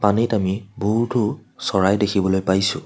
পানীত আমি বহুতো চৰাই দেখিবলৈ পাইছোঁ।